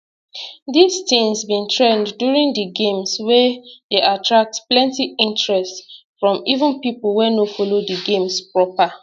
dis tins bin trend during di games wia dey attract plenti interest from even pipo wey no follow di games proper